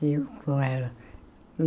Eu com ela.